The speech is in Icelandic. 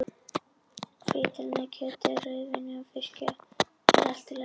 Hvítvín með kjöti og rauðvín með fiski er allt í lagi!